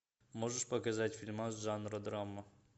можешь показать фильмас жанра драма